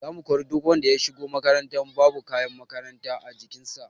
Za mu kori duk wanda ya shigo makaranta babu kayan makaranta a jikin sa